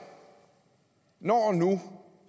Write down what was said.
når nu